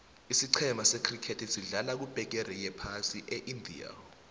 isicema se criket sedlala kubegeri yephasi eindia